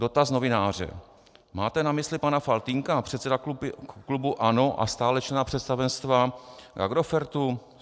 Dotaz novináře: Máte na mysli pana Faltýnka, předsedu klubu ANO a stále člena představenstva Agrofertu.